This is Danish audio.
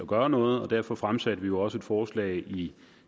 gøre noget og derfor fremsatte vi jo også et forslag i